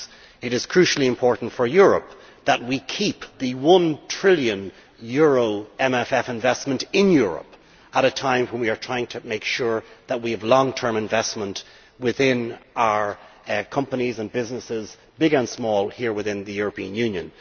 It is crucially important for Europe that we keep the EUR 1 trillion MMF investment in Europe at a time when we are trying to make sure that we have long term investment in our companies and businesses, big and small, here within the European Union.